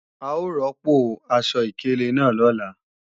A ó rọ́pò aṣọ ìkélé náà lọ́la